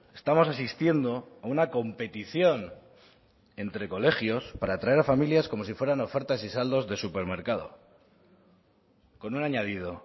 estamos asistiendo a una competición entre colegios para atraer a familias como si fueran ofertas y saldos de supermercado con un añadido